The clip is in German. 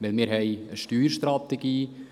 Wir haben eine Steuerstrategie.